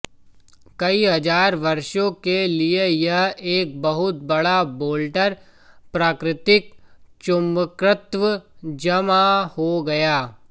कई हजार वर्षों के लिए यह एक बहुत बड़ा बोल्डर प्राकृतिक चुंबकत्व जमा हो गया